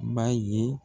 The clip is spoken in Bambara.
Ba ye